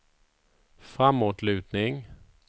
framåtlutning